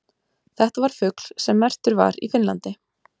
Þetta var fugl sem merktur var í Finnlandi.